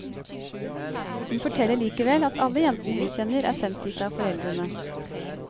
Hun forteller likevel at alle jentene hun kjenner er sendt dit av foreldrene.